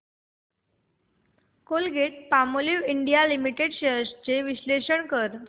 Colgate Palmolive India limited shares चे विश्लेषण कर